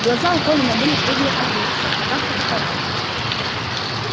глаза у колина были круглые от ужаса в руках фотоаппарат